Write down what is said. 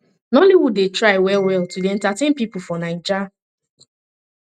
nolloywood dey try wellwell to dey entertain pipo for naija